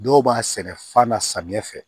Dɔw b'a sɛnɛ fa na samiya fɛ